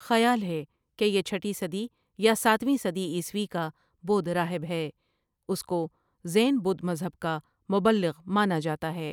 خیال ھے کہ یہ چھٹی صدی یا ساتویں صدی عیسوی کا بدھ راہب ہے اس کو زین بدھ مذہب کا مبلّغ مانا جانا ہے ۔